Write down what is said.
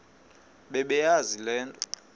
bebeyazi le nto